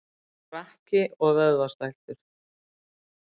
Frakki og vöðvastæltur.